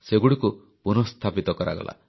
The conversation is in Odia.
ସେଗୁଡ଼ିକୁ ପୁନଃସ୍ଥାପିତ କରାଗଲା